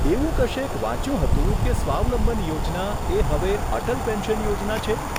એવું કશેક વાંચ્યું હતું કે સ્વાવલંબન યોજના એ હવે અટલ પેન્શન યોજના છે?